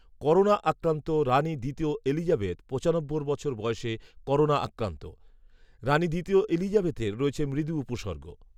Corona আক্রান্ত রানি দ্বিতীয় এলিজাবেথ পঁচানব্বই বছর বয়সে করোনা আক্রান্ত। রানি দ্বিতীয় এলিজাবেথের রয়েছে মৃদু উপসর্গ